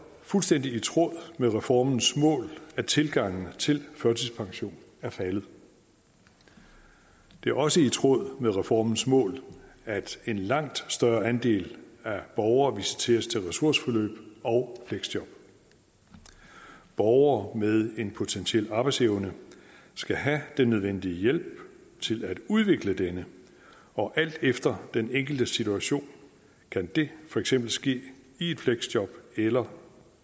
fuldstændig i tråd med reformens mål at tilgangen til førtidspension er faldet det er også i tråd med reformens mål at en langt større andel af borgere visiteres til ressourceforløb og fleksjob borgere med en potentiel arbejdsevne skal have den nødvendige hjælp til at udvikle denne og alt efter den enkeltes situation kan det for eksempel ske i fleksjob eller